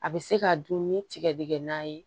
A bɛ se ka dun ni tigɛdɛgɛ na ye